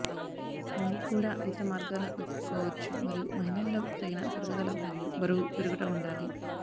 మీరు కూడా ఇతర మార్గాల వెదుక్కోవచ్చు మరియు మహిళల్లో తగిన పెరుగుదల మరియు బరువు పెరుగుట ఉండాలి